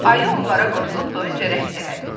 Ayı onlara qoşulub doyunca rəqs elədi.